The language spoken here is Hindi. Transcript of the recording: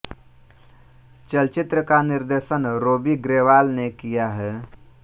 चलचित्र का निर्देशन रोबी ग्रेवाल ने किया है